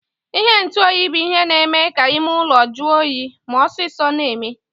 Ihe ntụ oyi bu ihe na eme ka ime ụlọ jụọ oyi ma osisọ na eme.